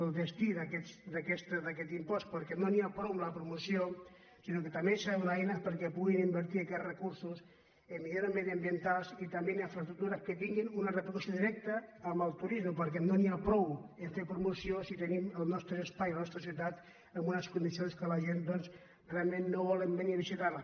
el destí d’aquest impost per·què no n’hi ha prou amb la promoció sinó que tam·bé s’han de donar eines perquè puguin invertir aquests recursos en millores mediambientals i també en infra·estructures que tinguin una repercussió directa en el turisme perquè no n’hi ha prou a fer promoció si te·nim els nostres espais de les nostres ciutats en unes condicions en què la gent doncs realment no volen venir a visitar·les